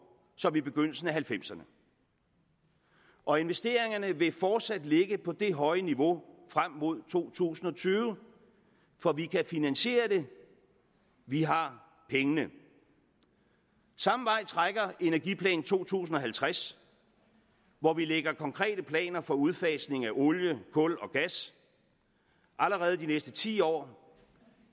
som i begyndelsen af halvfemserne og investeringerne vil fortsat ligge på det høje niveau frem mod to tusind og tyve for vi kan finansiere det vi har pengene samme vej trækker energiplan to tusind og halvtreds hvor vi lægger konkrete planer for udfasning af olie kul og gas allerede de næste ti år